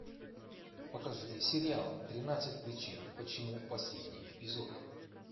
покажи сериал тринадцать причин почему последний эпизод